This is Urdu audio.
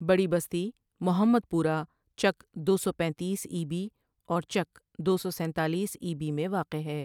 بڑی بستی محمد پورہ چک دو سو پینتیس ای بی اور چک دو سو سینتالیس ای بی میں واقع ہے ۔